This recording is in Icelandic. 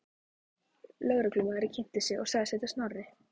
Lögreglumaðurinn kynnti sig og sagðist heita Snorri.